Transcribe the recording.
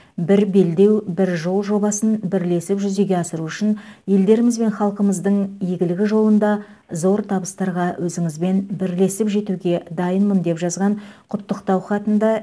бір белдеу бір жол жобасын бірлесіп жүзеге асыру үшін елдеріміз бен халқымыздың игілігі жолында зор табыстарға өзіңізбен бірлесіп жетуге дайынмын деп жазған құттықтау хатында